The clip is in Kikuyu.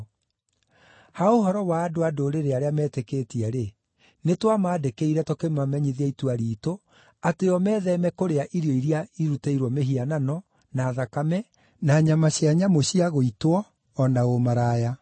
Ha ũhoro wa andũ-a-Ndũrĩrĩ arĩa metĩkĩtie-rĩ, nĩtwamandĩkĩire, tũkĩmamenyithia itua riitũ, atĩ o metheeme kũrĩa irio iria irutĩirwo mĩhianano, na thakame, na nyama cia nyamũ cia gũitwo, o na ũmaraya.”